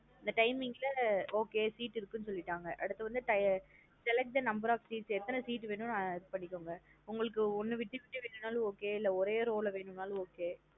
அந்த timing லா okay seat இருக்குனு சொல்லிட்டாங்க. அடுத்துவந்து select the number of seats எத்தன seat வேணுன்னு இது பண்ணிகோங்க உங்களுக்கு ஒன்னு விட்டு விட்டு வேணுனாலும் okay இல்லா ஒரே row லா வேணுனாலும் okay.